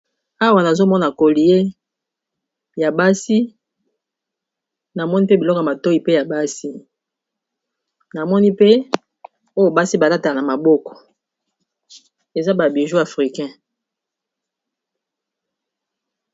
Awa nazomona kolie ya basi namoni mpe biloko matoi pe ya basi, namoni pe oyo basi balatala na maboko eza babiju afrikain